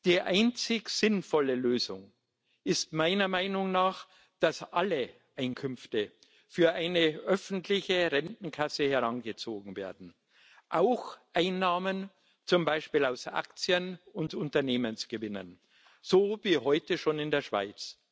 Die einzig sinnvolle Lösung ist meiner Meinung nach, dass alle Einkünfte für eine öffentliche Rentenkasse herangezogen werden, auch Einnahmen zum Beispiel aus Aktien und Unternehmensgewinnen so wie heute schon in der Schweiz.